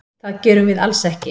Það gerum við alls ekki.